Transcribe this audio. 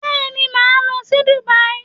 Bẹ́ẹ̀ni, màá lọ sí Dubai